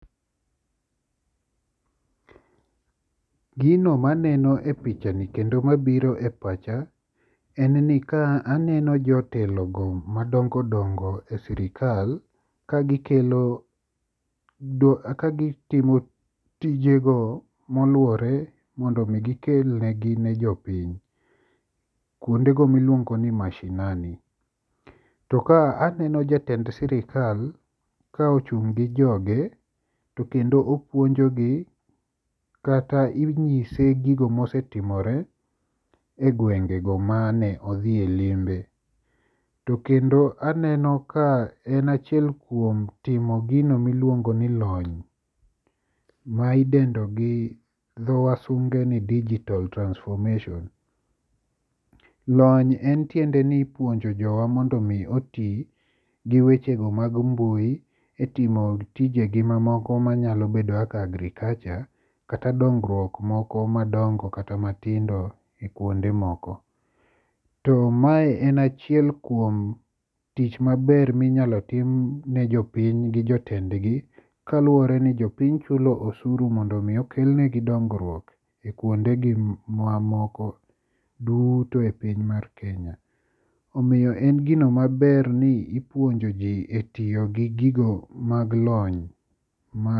Gino ma aneno e picha ni kendo mabiro e pacha en ni kae aneno jotelogo madongo dongo e sirkal kagikelo kaka gitimo tijego moluwore mondo mi gikel ne jopiny kuondego miluongo ni mashinani. Aneno jatend sirikal kochung' gi joge to kendo opuonjogi kata inyise gigo mosetimore egwengego mane odhiye limbe. To mkendo aneno ka en achiel kuom timo gino miluongo ni lony midendo gi dho wasunge ni digital transformation. Lony en tiendeni ipuonjo jowa mondo mi oti gi wechego mag mbui etimo tije gi mamoko manyalo bedo kaka agrikacha kata dongruok gi moko madongo kata matindo ekuonde moko .To mae en achiel kuom tich maber minyalo tim ni jopiny gi jotendgi kaluwore ni jopiny chulo osuru mondo mi okelnigi dongruok ekuondegi mamoko duto e piny mar Kenya. Omiyo en gino maber ni ipuonjo ji etiyo gi gigo mag lony ma